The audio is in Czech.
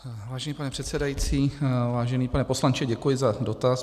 Vážený pane předsedající, vážený pane poslanče, děkuji za dotaz.